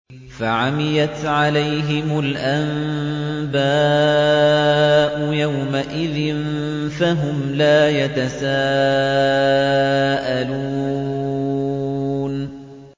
فَعَمِيَتْ عَلَيْهِمُ الْأَنبَاءُ يَوْمَئِذٍ فَهُمْ لَا يَتَسَاءَلُونَ